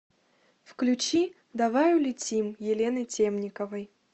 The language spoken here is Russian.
включи давай улетим елены темниковой